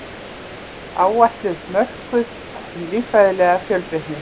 Áætlun mörkuð um líffræðilega fjölbreytni